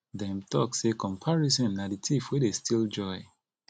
dem talk sey comparison na di thief wey dey steal joy